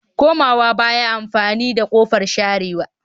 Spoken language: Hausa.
Komawa baya amfani da kofar sharewa